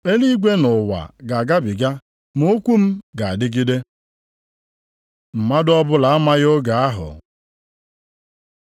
Eluigwe na ụwa ga-agabiga ma okwu m ga-adịgide. Mmadụ ọbụla amaghị oge ahụ